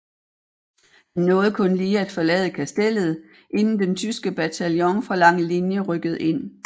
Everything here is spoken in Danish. Han nåede kun lige at forlade Kastellet inden den tyske bataljon fra Langelinie rykkede ind